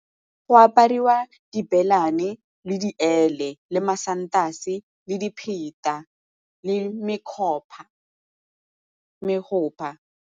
Go apariwa di le diele le masantase le dipheta le .